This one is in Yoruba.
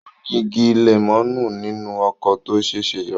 Ó ní igi lẹ́mọ̀nù nínú oko tó ṣẹ̀ṣẹ̀ rà.